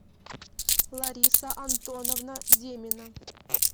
лариса антоновна демина